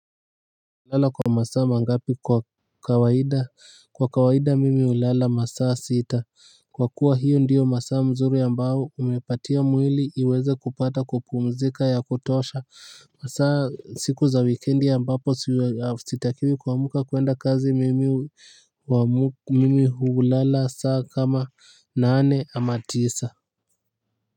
Unalala kwa masaa mangapi kwa kawaida? Kwa kawaida mimi hulala masaa sita kwa kuwa hiyo ndiyo masaa mzuri ambayo umepatia mwili iweze kupata kupumzika ya kutosha hasaa siku za wikendi ambapo sitakiwi kuamka kwenda kazi mimi hulala saa kama nane ama tisa